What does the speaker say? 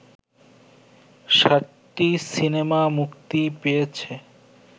৭টি সিনেমা মুক্তি পেয়েছে